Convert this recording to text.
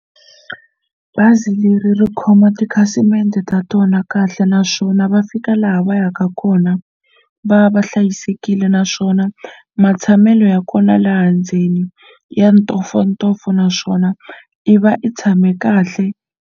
Bazi leri ri khoma tikhasimende ta tona kahle naswona va fika laha va yaka kona va va hlayisekile naswona matshamelo ya kona laha ndzeni ya ntofontofo naswona i va i tshame kahle.